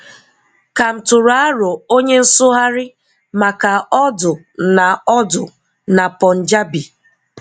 Ká m tụrụ aro onye nsụgharị maka Urdu na Urdu na Punjabi?